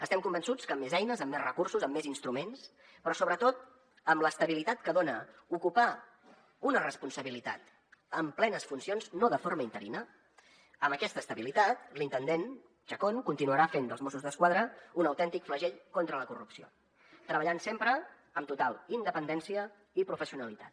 estem convençuts que amb més eines amb més recursos amb més instruments però sobretot amb l’estabilitat que dona ocupar una responsabilitat amb plenes funcions no de forma interina amb aquesta estabilitat l’intendent chacón continuarà fent dels mossos d’esquadra un autèntic flagell contra la corrupció treballant sempre amb total independència i professionalitat